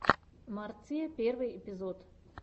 марция первый эпизод